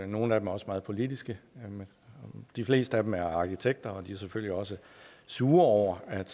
nogle af dem er også meget politiske de fleste af dem er arkitekter og de er selvfølgelig også sure over at